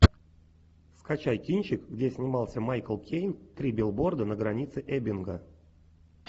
скачай кинчик где снимался майкл кейн три билборда на границе эббинга